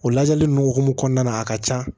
O lajɛli nunnu hokumu kɔnɔna na a ka ca